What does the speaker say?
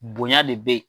Bonya de bɛ yen